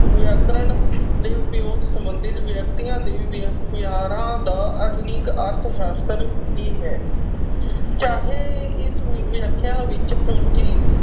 ਵਿਤਰਣ ਦੇ ਉਪਯੋਗ ਸੰਬੰਧਿਤ ਵਿਅਕਤੀਆ ਦੇ ਵਿਹਾਰਾਂ ਦਾ ਆਧੁਨਿਕ ਅਰਥ ਸ਼ਾਸਤਰ ਹੀ ਹੈ। ਚਾਹੇ ਇਸ ਵਿਆਖਿਆ ਵਿਚ ਪੂੰਜੀ